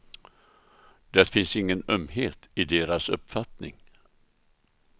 Det finns ingen ömhet i deras uppfattning.